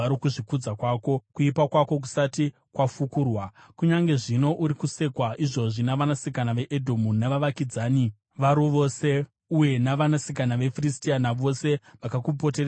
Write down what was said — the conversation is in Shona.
kuipa kwako kusati kwafukurwa. Kunyange zvino, uri kusekwa izvozvi navanasikana veEdhomu navavakidzani varo vose, uye vanasikana veFiristia, navose vakakupoteredza vanokushora.